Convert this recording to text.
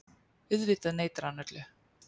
Auðvitað neitar hann öllu.